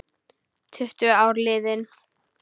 Tuttugu ár liðin.